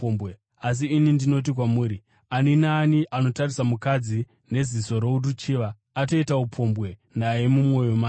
Asi ini ndinoti kwamuri ani naani anotarisa mukadzi neziso roruchiva atoita upombwe naye mumwoyo make.